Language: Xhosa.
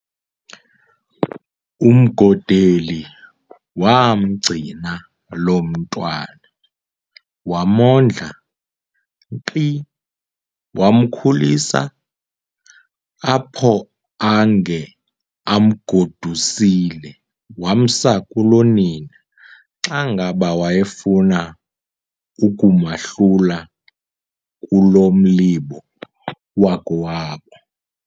UMgodeli waamgcina lo mntwana, wamondla nkqi, wamkhulisa, apho ange emgodusile wamsa kulonina, xa ngaba wayefuna ukumahlula kulo mlibo wakowabo.